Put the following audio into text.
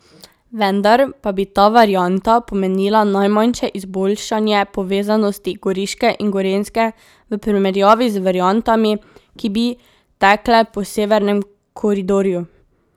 Vendar pa bi ta varianta pomenila najmanjše izboljšanje povezanosti Goriške in Gorenjske v primerjavi z variantami, ki bi tekle po severnem koridorju.